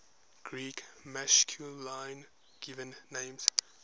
greek masculine given names